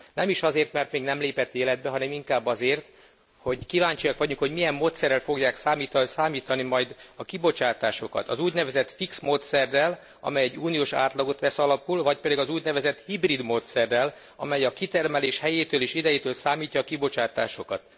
Nem is azért, mert még nem lépett életbe, hanem inkább azért, hogy kíváncsiak vagyunk, hogy milyen módszerrel fogják számítani majd a kibocsátásokat. Az úgynevezett fix módszerrel, amely egy uniós átlagot vesz alapul, vagy pedig az úgynevezett hibrid módszerrel, amely a kitermelés helyétől és idejétől számítja a kibocsátásokat.